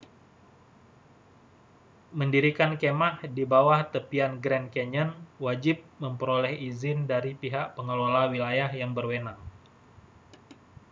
mendirikan kemah di bawah tepian grand canyon wajib memperoleh izin dari pihak pengelola wilayah yang berwenang